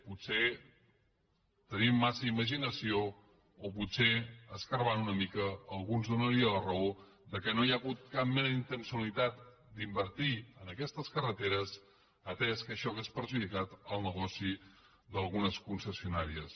potser tenim massa imaginació o potser furgant una mica algú ens donaria la raó que no hi ha hagut cap mena d’intenció d’invertir en aquestes carreteres atès que això hauria perjudicat el negoci d’algunes concessionàries